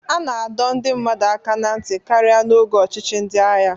A na-adọ ndị mmadụ aka ná ntị karịa n'oge ọchịchị ndị agha